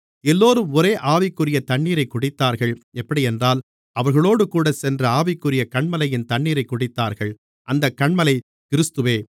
எல்லோரும் ஒரே ஆவிக்குரிய தண்ணீரைக் குடித்தார்கள் எப்படியென்றால் அவர்களோடுகூடச்சென்ற ஆவிக்குரிய கன்மலையின் தண்ணீரைக் குடித்தார்கள் அந்தக் கன்மலை கிறிஸ்துவே